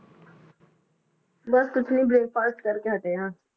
ਬਸ ਕੁਛ ਨੀ breakfast ਕਰਕੇ ਹਟੇ ਹਾਂ।